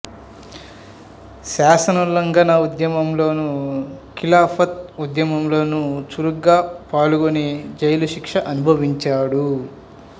శాసనోల్లంఘన ఉద్యమం లోను ఖిలాఫత్ ఉద్యమంలోనూ చురుగ్గా పాల్గొని జైలుశిక్ష అనుభవించాడు